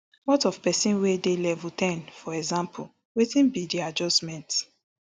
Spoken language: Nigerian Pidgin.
what of pesin wey dey level ten for example wetin be di adjustment